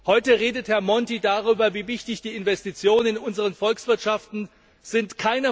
Heute redet Herr Monti darüber, wie wichtig die Investitionen in unseren Volkswirtschaften sind.